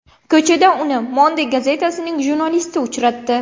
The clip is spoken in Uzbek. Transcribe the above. Ko‘chada uni Monde gazetasining jurnalisti uchratdi.